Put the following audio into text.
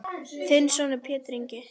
Þinn sonur Pétur Ingi.